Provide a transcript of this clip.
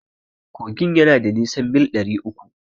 Kogin yana da nisan mil ɗari uku.